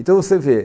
Então, você vê,